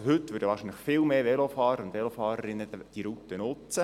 Zudem würden wahrscheinlich viel mehr Velofahrerinnen und Velofahrer diese Route nutzen.